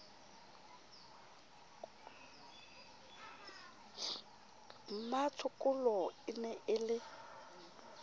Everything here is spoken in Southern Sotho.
mmatshokolo e ne e le